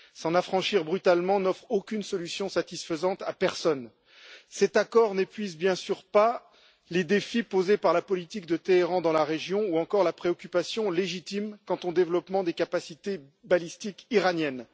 S'en affranchir brutalement n'offre aucune solution satisfaisante à personne. Cet accord ne répond bien sûr pas aux problèmes posés par la politique de Téhéran dans la région ni à la préoccupation légitime quant au développement des capacités balistiques iraniennes.